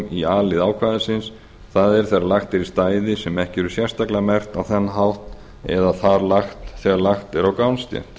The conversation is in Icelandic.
í a lið ákvæðisins það er þegar lagt er í stæði sem ekki eru sérstaklega merkt á þann hátt eða þegar lagt er á gangstétt